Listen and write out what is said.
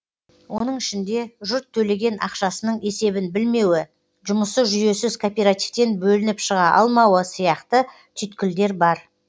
оның ішінде жұрт төлеген ақшасының есебін білмеуі жұмысы жүйесіз кооперативтен бөлініп шыға алмауы сияқты түйткілдер бар